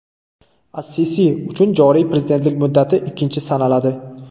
As-Sisi uchun joriy prezidentlik muddati ikkinchi sanaladi.